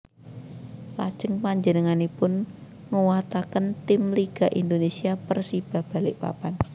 Lajeng panjenenganipun nguwataken tim Liga Indonesia Persiba Balikpapan